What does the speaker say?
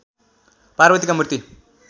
पार्वतीका मूर्ति